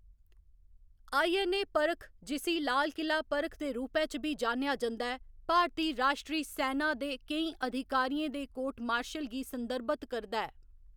INA परख जिस्सी लाल किला परख दे रूपै च बी जान्नेआ जंदा ऐ, भारती राश्ट्री सैना दे केईं अधिकारियें दे कोर्ट मार्शल गी संदर्भत करदा ऐ।